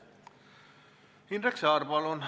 Indrek Saar, palun!